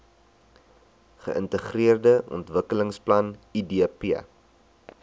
geintegreerde ontwikkelingsplan idp